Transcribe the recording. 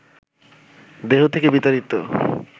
দেহ থেকে বিতাড়িত